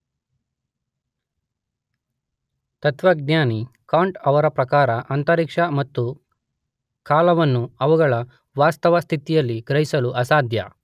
ತತ್ವಜ್ನಾನಿ Kant ಅವರ ಪ್ರಕಾರ ಅಂತರಿಕ್ಷ ಮತ್ತು ಕಾಲವನ್ನು ಅವುಗಳ ವಾಸ್ತವಸ್ತಿಥಿಯಲ್ಲಿ ಗ್ರಹಿಸಲು ಅಸಾಧ್ಯ.